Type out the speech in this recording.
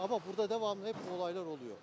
Amma burada devamlı hep bu olaylar oluyor.